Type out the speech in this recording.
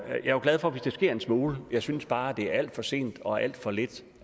er jo glad for hvis der sker en smule jeg synes bare det er alt for sent og alt for lidt